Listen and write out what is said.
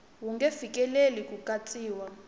wu nge fikeleli ku katsiwa